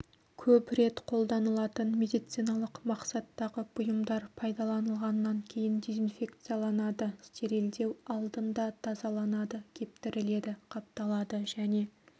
көп рет қолданылатын медициналық мақсаттағы бұйымдар пайдаланылғаннан кейін дезинфекцияланады стерилдеу алдында тазаланады кептіріледі қапталады және